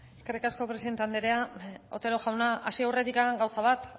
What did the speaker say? eskerrik asko presidente andrea otero jauna hasi aurretik gauza bat